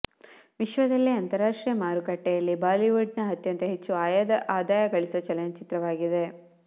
ವಿಶ್ವದಲ್ಲೇ ಅಂತಾರಾಷ್ಟ್ರೀಯ ಮಾರುಕಟ್ಟೆಯಲ್ಲಿ ಬಾಲಿಯುಡ್ ನ ಅತ್ಯಂತ ಹೆಚ್ಚು ಆದಾಯಗಳಿಸಿದ ಚಲನಚಿತ್ರವಾಗಿದೆ